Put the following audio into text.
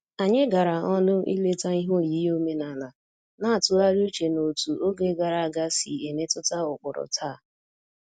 Anyị gara ọnụ ileta ihe oyiyi omenala, na-atụgharị uche n'otú oge gara aga si emetụta ụkpụrụ taa